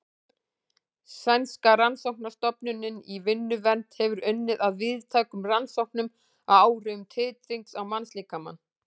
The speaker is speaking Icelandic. Sænska rannsóknastofnunin í vinnuvernd hefur unnið að víðtækum rannsóknum á áhrifum titrings á mannslíkamann.